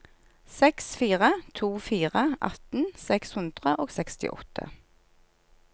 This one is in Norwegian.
seks fire to fire atten seks hundre og sekstiåtte